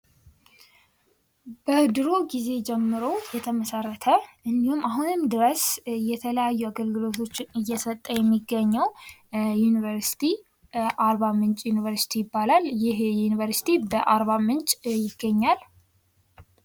በድሩ ጊዜ ጀምሮ የተመሰረተ እንዲሁም አሁንም ድረስ የተለያዩ አገልግሎቶችን እየሰጠ የሚገኘው ዩኒቨርስቲ አርባምንጭ ዩኒቨርሲቲ ይባላል:: ይህ ዩኒቨርስቲ በአር ምንጭ ይገኛል ::